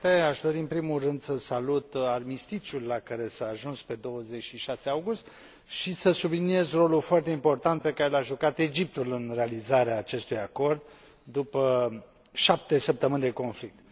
Domnule președinte, aș dori, în primul rând, să salut armistițiul la care s a ajuns pe 26 august și să subliniez rolul foarte important pe care l a jucat Egiptul în realizarea acestui acord, după șapte săptămâni de conflict.